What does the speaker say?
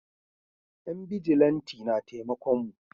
Yan bijilanti na taimakon mu